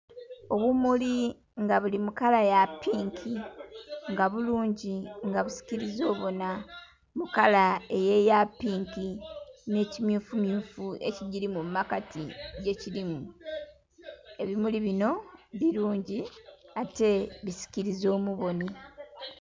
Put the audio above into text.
Obumuli nga buli mukala yapinki nga bulungi nga busikiriza obona mukala eyo eyapinki n'emmyufu myufu ekigiri mumakati gikirimu, ebimuli bino birungi ate bisikiriza omuboni.